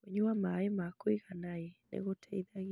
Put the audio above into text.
Kũnyua maĩ ma kũiganaĩ nĩ gũteithagia